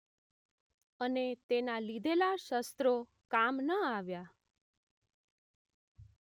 અને તેના લીધેલા શસ્ત્રો કામ ન આવ્યાં